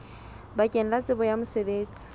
bakeng la tsebo ya mosebetsi